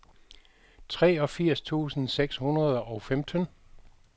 treogfirs tusind seks hundrede og femten